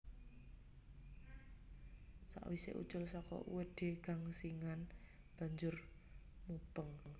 Sawisé ucul saka uwedé gangsingan banjur mubeng